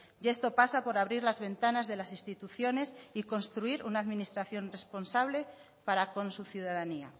y esto pasa por abrir las ventanas de las instituciones y construir una administración responsable para con su ciudadanía